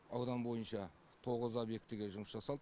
аудан бойынша тоғыз объектіге жұмыс жасалды